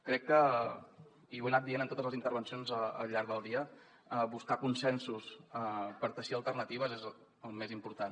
crec que i ho he anat dient en totes les intervencions al llarg del dia buscar consensos per teixir alternatives és el més important